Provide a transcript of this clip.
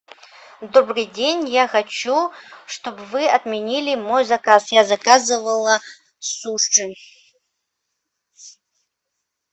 добрый день я хочу чтобы вы отменили мой заказ я заказывала суши